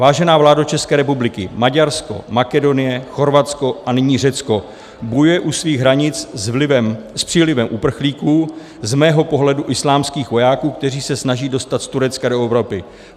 "Vážená vládo České republiky, Maďarsko, Makedonie, Chorvatsko a nyní Řecko bojuje u svých hranic s přílivem uprchlíků, z mého pohledu islámských vojáků, kteří se snaží dostat z Turecka do Evropy.